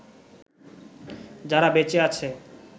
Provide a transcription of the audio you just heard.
যারা বেঁচে আছে